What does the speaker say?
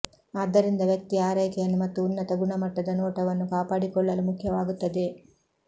ಆದ್ದರಿಂದ ವ್ಯಕ್ತಿಯ ಆರೈಕೆಯನ್ನು ಮತ್ತು ಉನ್ನತ ಗುಣಮಟ್ಟದ ನೋಟವನ್ನು ಕಾಪಾಡಿಕೊಳ್ಳಲು ಮುಖ್ಯವಾಗುತ್ತದೆ